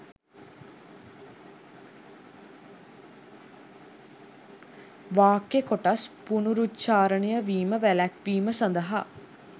වාක්‍ය කොටස් පුනරුච්ඡාරණය වීම වැළැක්වීම සඳහා